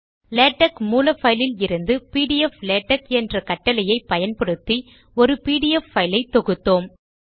LaTeX மூல பைலில் இருந்து பிடிஎஃப் லேடக் என்ற கட்டளையை பயன்படுத்தி ஒரு பிடிஎஃப் பைலை தொகுத்தோம்